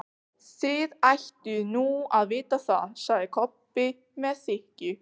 Þið ættuð nú að vita það, sagði Kobbi með þykkju.